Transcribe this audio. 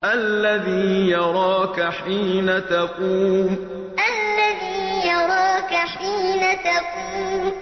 الَّذِي يَرَاكَ حِينَ تَقُومُ الَّذِي يَرَاكَ حِينَ تَقُومُ